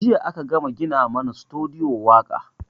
Jiya a ka gama gina mana sutudiyo waƙa